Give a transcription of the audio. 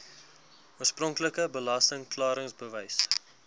oorspronklike belasting klaringsbewys